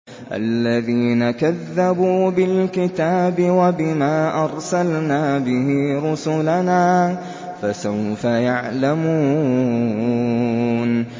الَّذِينَ كَذَّبُوا بِالْكِتَابِ وَبِمَا أَرْسَلْنَا بِهِ رُسُلَنَا ۖ فَسَوْفَ يَعْلَمُونَ